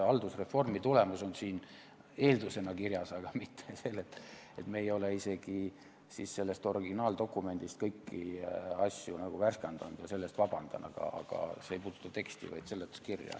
Haldusreformi tulemus on siin eeldusena kirjas, me ei ole selles originaaldokumendis kõiki asju värskendanud, selle eest ma palun vabandust, aga see ei puuduta teksti, vaid seletuskirja.